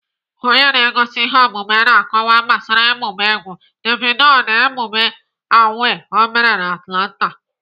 Onye na-egosi ihe omume na- akọwa gbasara emume egwu Davido na emume A.W.A.Y ọ mere na Atlanta.